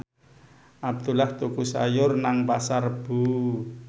Abdullah tuku sayur nang Pasar Rebo